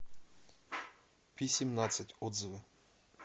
пи семнадцать отзывы